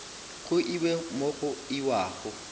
go iwe mo go iwago